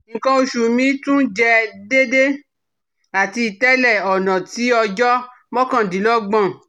nkan osu mi tun jẹ deede ati tẹle ọna ti ọjọ mọkandinlọgbọn